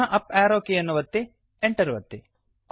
ಪುನಃ up arrow ಕೀಯನ್ನು ಒತ್ತಿ Enter ಒತ್ತಿ